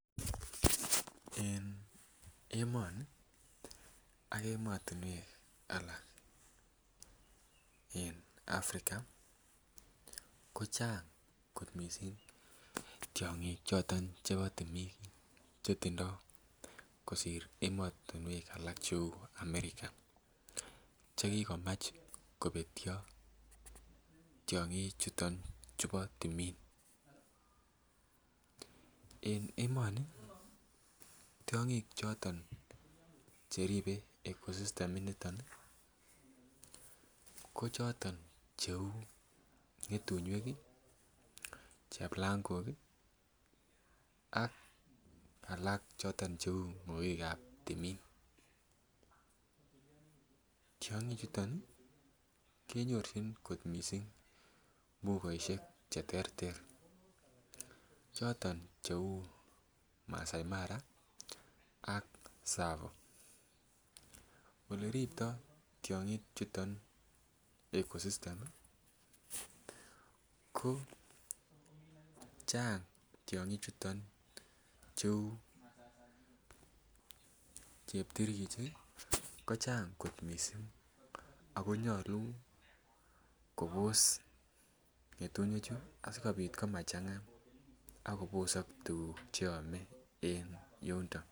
En emoni ak emotinwek alak en Africa ko chang kot missing tiong'ik choton chebo timin chetindo kosir emotinwek alak cheu America chekikomuch kobetyo tiong'ik chuton chubo timin en emoni tiong'ik choton cheribe ecosystem initon ih ko choton cheu ng'etunyik, cheplangok ih ak alak choton cheu ng'okik ab timin, tiong'ik chuton ih kenyorchin kot missing mbugosiek cheterter choton cheu Masai Mara ak Tsavo, oleriptoo tiong'ik chuton ecosystem ih ko chang tiong'ik chuton cheu cheptirgichik ih ko chang kot missing ako nyolu kobos ng'etunyik chu asikobit komachang'a ak kobosok tuguk cheome en yundo